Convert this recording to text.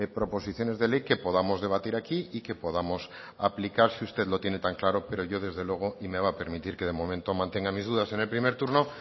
proposiciones de ley que podamos debatir aquí y que podamos aplicar si usted lo tiene tan claro pero yo desde luego y me va a permitir que de momento mantenga mis dudas en el primer turno